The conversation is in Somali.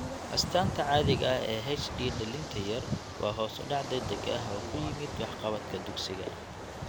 Astaanta caadiga ah ee HD dhallinta yar waa hoos u dhac degdeg ah oo ku yimid waxqabadka dugsiga.